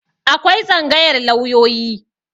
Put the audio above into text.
Akwai Tsangayar lauyoyi.